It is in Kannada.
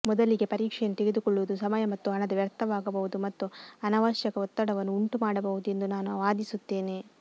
ಮೊದಲಿಗೆ ಪರೀಕ್ಷೆಯನ್ನು ತೆಗೆದುಕೊಳ್ಳುವುದು ಸಮಯ ಮತ್ತು ಹಣದ ವ್ಯರ್ಥವಾಗಬಹುದು ಮತ್ತು ಅನವಶ್ಯಕ ಒತ್ತಡವನ್ನು ಉಂಟುಮಾಡಬಹುದು ಎಂದು ನಾನು ವಾದಿಸುತ್ತೇನೆ